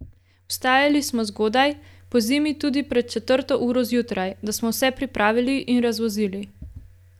Vstajali smo zgodaj, pozimi tudi pred četrto uro zjutraj, da smo vse pripravili in razvozili.